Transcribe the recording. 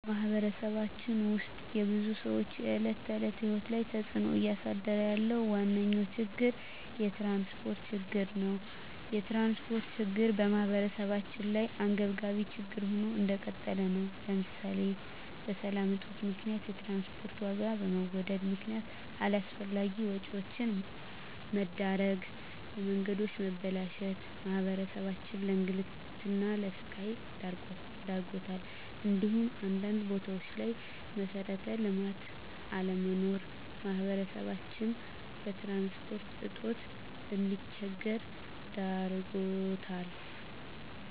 በማህበረሰባችን ውስጥ የብዙ ሰዎች የዕለት ተዕለት ህይወት ላይ ተፅእኖ እያሳደረ ያለው ዋነኛ ችግር የትራንስፖርት ችግር ነው። የትራንስፖርት ችግር በማህበረሰባችን ላይ አንገብጋቢ ችግር ሆኖ እንደቀጠለ ነው ለምሳሌ በሰላም እጦት ምክንያት የትራንስፖርት ዋጋ በመወደድ ምክነያት አላስፈላጊ ወጪዎች መዳረግ፣ የመንገዶች መበላሸት ማህበረሰባችንን ለእንግልትና ለስቃይ ዳርጓታል እንዲሁም አንዳንድ ቦታዎች ላይ መሠረተ ልማት አለመኖር ማህበረሰባችን በትራንስፖርት እጦት እንዲቸገር ዳርጎታል።